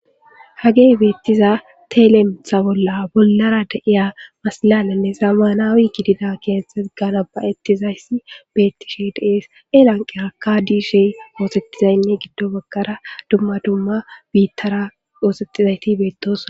hagey beettiza teelemitha bolla bollara da7iya masalalanne zama naawi gidida keesetet ganabayettizayssi beettishe dees elanqe aka diishey moosetizaynne giddo bagkara dumma dumma biittara oosetizayti beettoos